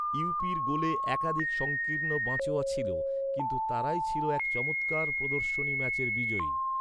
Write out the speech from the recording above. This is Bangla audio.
ইউপির গোলে একাধিক সঙ্কীর্ণ বাঁচোয়া ছিল, কিন্তু তারাই ছিল এক চমৎকার প্রদর্শনী ম্যাচের বিজয়ী।